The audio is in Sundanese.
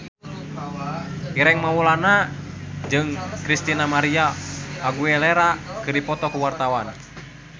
Ireng Maulana jeung Christina María Aguilera keur dipoto ku wartawan